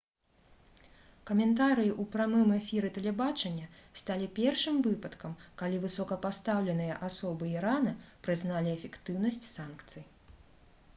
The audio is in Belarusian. каментарыі ў прамым эфіры тэлебачання сталі першым выпадкам калі высокапастаўленыя асобы ірана прызналі эфектыўнасць санкцый